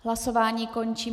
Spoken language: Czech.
Hlasování končím.